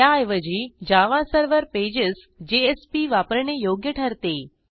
त्याऐवजी Java server pages वापरणे योग्य ठरते